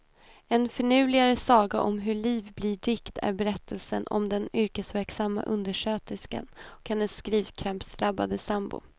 En finurligare saga om hur liv blir dikt är berättelsen om den yrkesverksamma undersköterskan och hennes skrivkrampsdrabbade sambo.